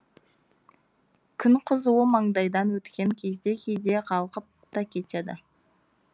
күн қызуы маңдайдан өткен кезде кейде қалғып та кетеді